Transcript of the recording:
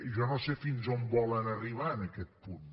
jo no sé fins a on volen arribar en aquest punt